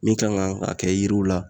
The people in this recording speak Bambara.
Min kan ka kɛ yiriw la